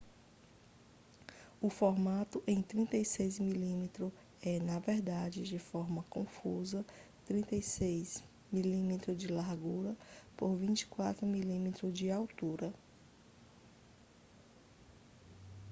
o formato em 35mm é na verdade de forma confusa 36mm de largura por 24mm de altura